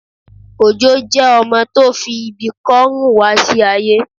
Òjó jẹ ọmọ tó fi ibi kò rún wá sí aye